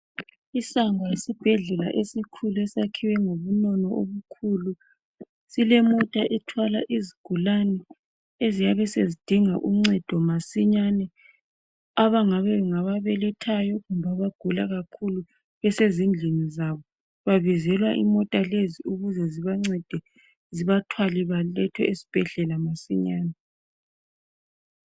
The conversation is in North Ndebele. Isango lesibhedlela esikhulu esakhiwe ngobunono obukhulu silemota ethwala izigulane eziyabe sezidinga uncedo masinyane abangabe ngababelethayo kumbe abagula kakhulu besezindlini zabo, babizelwa imota lezi ukuze zibancede zibathwale balethwe esibhedlela masinyane.